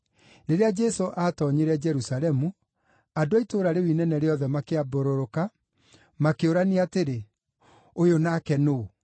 Rĩrĩa Jesũ aatoonyire Jerusalemu, andũ a itũũra rĩu inene rĩothe makĩambũrũrũka, makĩũrania atĩrĩ, “Ũyũ nake nũũ?”